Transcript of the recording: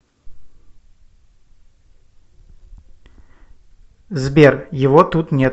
сбер его тут нет